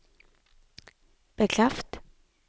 bekreft